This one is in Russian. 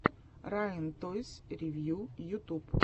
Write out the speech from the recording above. райан тойс ревью ютуб